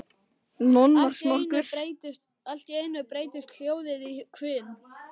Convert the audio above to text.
Allt í einu breytist hljóðið í hvin.